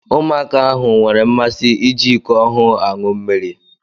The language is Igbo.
Ụmụaka ahụ nwere mmasị iji iko ọhụụ aṅụ mmiri.